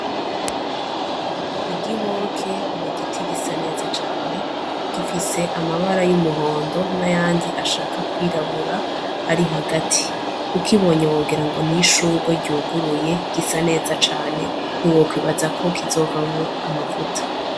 Igihoke ni igiti gisa neza cane, gifise amabara y'umuhondo n'ayandi ashaka kwirabura ari hagati. Ukibonye wogirango ni ishugwe ryuguruye, gisa neza cane ntiwokwibaza ko kizovamwo amavuta.